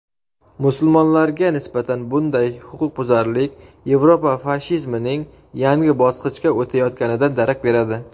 "musulmonlarga nisbatan bunday huquqbuzarlik Yevropa fashizmining yangi bosqichga o‘tayotganidan darak beradi".